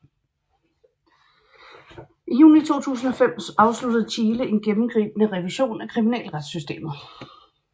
I juni 2005 afsluttede Chile en gennemgribende revision af kriminalretssystemet